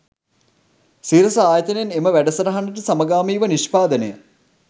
සිරස ආයතනයෙන් එම වැඩසටහනට සමගාමීව නිෂ්පාදනය